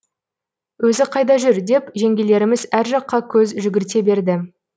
өзі қайда жүр деп жеңгелеріміз әр жаққа көз жүгірте берді